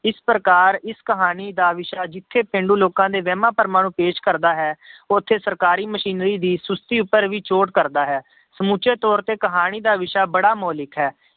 ਇਸ ਪ੍ਰਕਾਰ ਇਸ ਕਹਾਣੀ ਦਾ ਵਿਸ਼ਾ ਜਿੱਥੇ ਪੇਂਡੂ ਲੋਕਾਂ ਦੇ ਵਹਿਮਾਂ ਭਰਮਾਂ ਨੂੰ ਪੇਸ਼ ਕਰਦਾ ਹੈ ਉੱਥੇ ਸਰਕਾਰੀ ਮਸ਼ੀਨਰੀ ਦੀ ਸੁਸਤੀ ਉੱਪਰ ਵੀ ਚੋਟ ਕਰਦਾ ਹੈ ਸਮੁੱਚੇ ਤੌਰ ਤੇ ਕਹਾਣੀ ਦਾ ਵਿਸ਼ਾ ਬੜਾ ਮੋਲਿਕ ਹੈ।